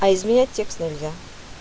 а изменять текст нельзя